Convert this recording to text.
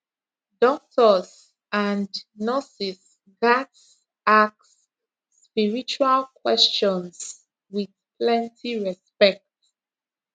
doctors and nurses gats ask spiritual questions with plenty respect